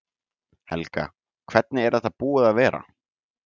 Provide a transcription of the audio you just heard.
Helga: Hvernig er þetta búið að vera?